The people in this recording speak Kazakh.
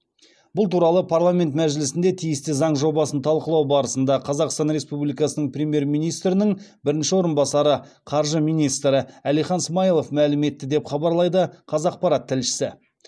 бұл туралы парламент мәжілісінде тиісті заң жобасын талқылау барысында қазақстан республикасының премьер министрінің бірінші орынбасары қаржы министрі әлихан смайылов мәлім етті деп хабарлайды қазақпарат тілшісі